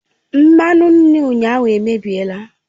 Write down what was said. Mmanụ nri ụnyaahụ emebiela